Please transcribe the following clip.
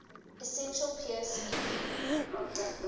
essential peirce ep